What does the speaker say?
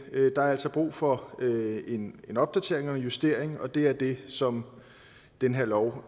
der er altså brug for en opdatering og en justering og det er det som den her lov